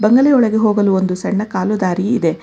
ಬಂಗಲೆ ಒಳಗೆ ಹೋಗಲು ಒಂದು ಸಣ್ಣ ಕಾಲು ದಾರಿ ಇದೆ.